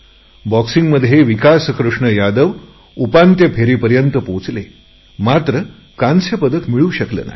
मुष्टि युध्दात विकास कृष्ण यादव उपउपांत्य फेरीपर्यंत पोहोचले मात्र कांस्य पदक मिळू शकले नाही